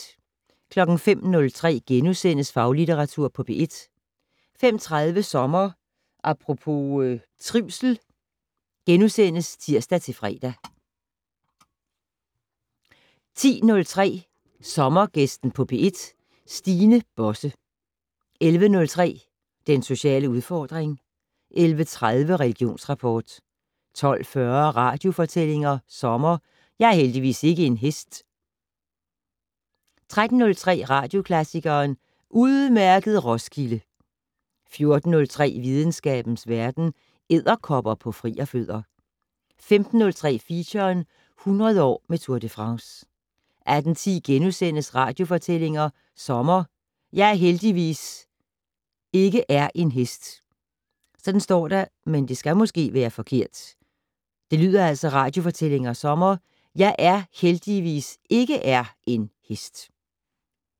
05:03: Faglitteratur på P1 * 05:30: Sommer Apropos - trivsel *(tir-fre) 10:03: Sommergæsten på P1: Stine Bosse 11:03: Den sociale udfordring 11:30: Religionsrapport 12:40: Radiofortællinger sommer: Jeg er heldigvis ikke er en hest 13:03: Radioklassikeren: Udmærket Roskilde! 14:03: Videnskabens Verden: Edderkopper på frierfødder 15:03: Feature - 100 år med Tour de France 18:10: Radiofortællinger sommer: Jeg er heldigvis ikke er en hest *